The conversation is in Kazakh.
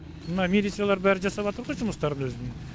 мына милициялар бәрі жасаватыр ғой жұмыстарын өзінің